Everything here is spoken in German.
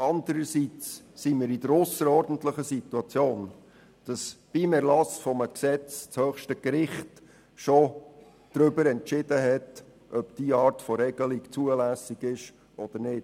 Andererseits befinden wir uns in der ausserordentlichen Situation, dass zum Zeitpunkt des Erlasses eines Gesetzes das höchste Gericht bereits entschieden hat, ob diese Art von Regelung zulässig ist oder nicht.